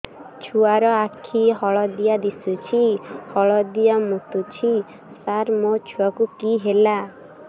ଛୁଆ ର ଆଖି ହଳଦିଆ ଦିଶୁଛି ହଳଦିଆ ମୁତୁଛି ସାର ମୋ ଛୁଆକୁ କି ହେଲା